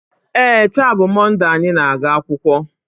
ee, taa bụ Mọnde anyị na-aga akwụkwọ